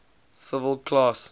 civil class